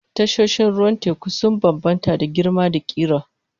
Tashoshin ruwan teku sun bambanta da girma da ƙira.